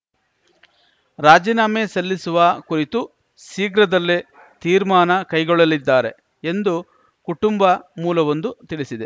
ರಾಜೀನಾಮೆ ಸಲ್ಲಿಸುವ ಕುರಿತು ಶೀಘ್ರದಲ್ಲೇ ತೀರ್ಮಾನ ಕೈಗೊಳ್ಳಲಿದ್ದಾರೆ ಎಂದು ಕುಟುಂಬ ಮೂಲವೊಂದು ತಿಳಿಸಿದೆ